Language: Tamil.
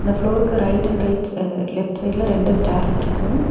ஃப்ளோருக்கு right and right uh left சைடுல ரெண்டு ஸ்டேர்ஸ் இருக்கு.